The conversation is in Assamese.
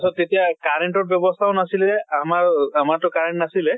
চত তেতিয়া current ৰ ব্য়ৱস্থাও নাছিলে, আমাৰ আমাৰ তো current নাছিলে।